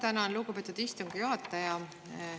Tänan, lugupeetud istungi juhataja!